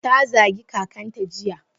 Ta zagi kakanta jiya.